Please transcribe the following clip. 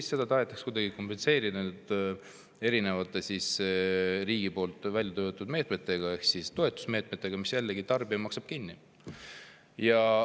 Ja seda tahetakse kuidagi kompenseerida erinevate riigi poolt välja töötatud meetmetega ehk siis toetusmeetmetega, mis jällegi tarbija maksab kinni.